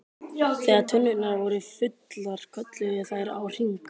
Þegar tunnurnar voru fullar kölluðu þær á HRING!